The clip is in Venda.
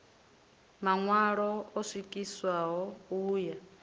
maṋwalo o swikiswaho u ya